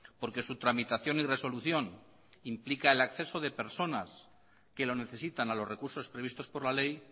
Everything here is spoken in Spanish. porque su tramitación y resolución implica el acceso de personas que lo necesitan a los recursos previstos por la ley